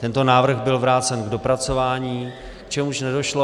Tento návrh byl vrácen k dopracování, k čemuž nedošlo.